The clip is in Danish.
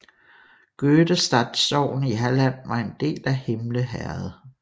Gødestad sogn i Halland var en del af Himle herred